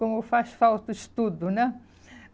Como faz falta o estudo, né?